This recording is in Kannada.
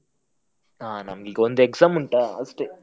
ಹ ನಮ್ಗೆ ಈಗ ಒಂದ್ exam ಉಂಟ ಅಷ್ಟೇ.